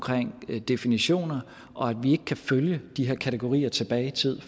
definitioner og at vi ikke kan følge de her kategorier tilbage i tiden